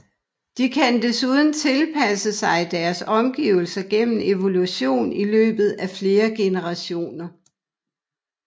De kan desuden tilpasse sig deres omgivelser gennem evolution i løbet af flere generationer